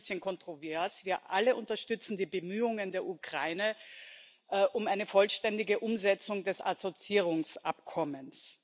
Es ist schon ein bisschen kontrovers Wir alle unterstützen die Bemühungen der Ukraine um eine vollständige Umsetzung des Assoziierungsabkommens.